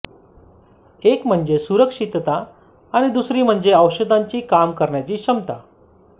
एक म्हणजे सुरक्षितता आणि दुसरी म्हणजे औषधांची काम करण्याची क्षमता